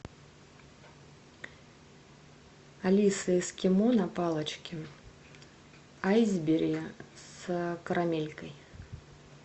алиса эскимо на палочке айсберри с карамелькой